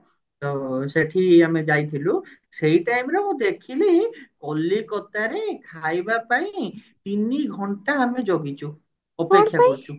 ତ ସେଠି ଆମେ ଯାଇଥିଲୁ ସେଇ time ରେ ମୁଁ ଦେଖିଲି କଲିକତାରେ ଖାଇବା ପାଇଁ ତିନିଘଣ୍ଟା ଆମେ ଜଗିଛୁ ଅପେକ୍ଷା କରିଛୁ